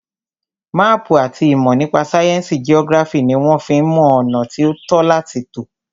Máàpù àti ìmọ̀ nípa sáyẹnsì geography ní wọ́n fí ń mọ ọ̀nà tí o tọ́ láti tọ̀.